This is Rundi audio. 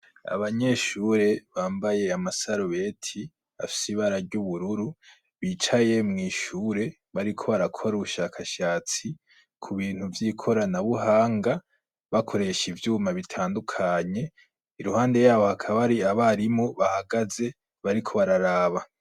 Abanyeshure bambaye amasarubeti afsibararya ubururu bicaye mw'ishure bariko barakora ubushakashatsi ku bintu vyikora na buhanga bakoresha ivyuma bitandukanye iruhande yabo hakaba ari abarimu bahagaze bariko bararaba.